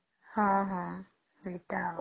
ହଁ ହଁ ସେଇଟା ଆଉ